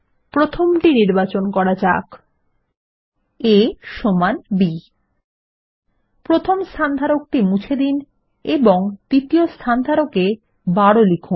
প্রথমটি নির্বাচন করা যাক160 a সমান b প্রথম স্থানধারকটি মুছে দিন এবং দ্বিতীয় স্থানধারক এ ১২ লিখুন